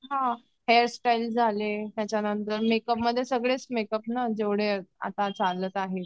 Hair style झाले makeup मध्ये सगळेच मेकअप जेवढे आता चालत आहेत.